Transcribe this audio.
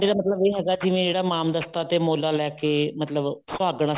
ਸਾਡੇ ਤਾਂ ਮਤਲਬ ਇਹ ਹੈਗਾ ਜਿਵੇਂ ਮਾਮ ਦਸਤਾ ਤੇ ਮੋਲਾਂ ਲੈਕੇ ਮਤਲਬ ਸੁਹਾਗਣਾ